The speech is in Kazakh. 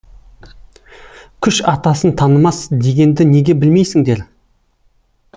күш атасын танымас дегенді неге білмейсіңдер